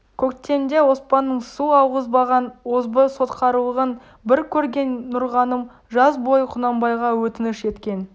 көктемде оспанның су алғызбаған озбыр сотқарлығын бір көрген нұрғаным жаз бойы құнанбайға өтініш еткен